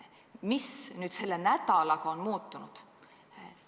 Mis nüüd selle nädalaga on muutunud?